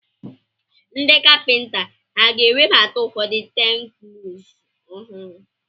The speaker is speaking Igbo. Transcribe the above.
Ndị kapịnta ha ga-ewebata ụfọdụ teknụzụ ọhụrụ?